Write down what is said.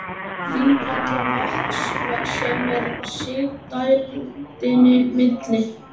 Þingvallavatns sem er í sigdældinni milli